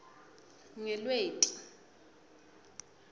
ngelweti